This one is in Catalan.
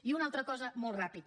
i una altra cosa molt ràpid